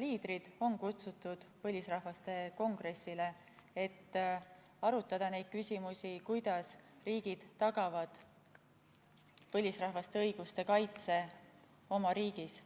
liidrid on kutsutud põlisrahvaste kongressile, et arutada neid küsimusi, kuidas riigid tagavad põlisrahvaste õiguste kaitse oma riigis.